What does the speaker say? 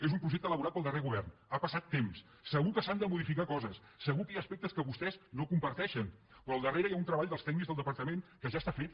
és un projecte elaborat pel darrer govern ha passat temps segur que s’han de modificar coses segur que hi ha aspectes que vos·tès no comparteixen però al darrere hi ha un treball dels tècnics del departament que ja està fet